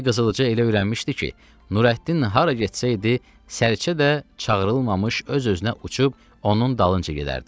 İndi Qızılca elə öyrənmişdi ki, Nurəddin hara getsəydi, Sərçə də çağırılmamış öz-özünə uçub onun dalınca gedərdi.